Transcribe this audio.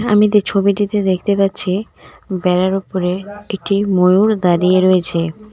আমি তে ছবিটিতে দেখতে পাচ্ছি বেড়ার ওপরে একটি ময়ূর দাঁড়িয়ে রয়েছে.